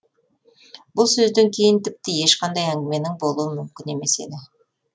бұл сөзден кейін тіпті ешқандай әңгіменің болуы мүмкін емес еді